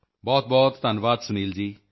ਬਹੁਤਬਹੁਤ ਧੰਨਵਾਦ ਸੁਨੀਲ ਜੀ